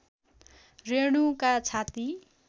रेणुका छाती